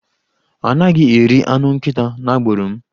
A naghi eri anụ nkịta n'agbụrụ m.